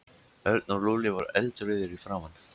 Örn og Lúlli voru eldrauðir í framan.